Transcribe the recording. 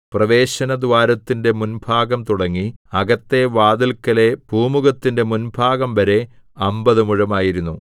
പ്രവേശനദ്വാരത്തിന്റെ മുൻഭാഗംതുടങ്ങി അകത്തെ വാതില്‍ക്കലെ പൂമുഖത്തിന്റെ മുൻഭാഗംവരെ അമ്പത് മുഴമായിരുന്നു